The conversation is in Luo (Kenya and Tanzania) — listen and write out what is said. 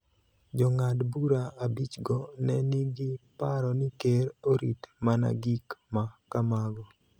Jong'ad bura abichgo ne nigi paro ni Ker orit mana gik ma kamago .